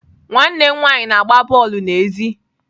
Nwanne m nwanyị na-agba bọọlụ n'èzí.